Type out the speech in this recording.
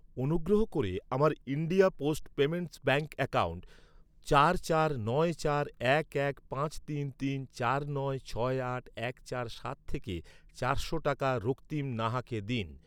অনুগ্রহ করে আমার India post payments bank account চার চার নয় চার এক এক পাঁচ তিন তিন চার নয় ছয় আট এক চার সাত থেকে চারশো টাকা রক্তিম নাহাকে দিন।